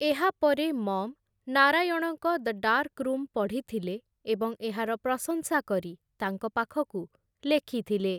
ଏହାପରେ ମଅମ୍‌, ନାରାୟଣଙ୍କ 'The Dark Room' ପଢ଼ିଥିଲେ ଏବଂ ଏହାର ପ୍ରଶଂସା କରି ତାଙ୍କ ପାଖକୁ ଲେଖିଥିଲେ ।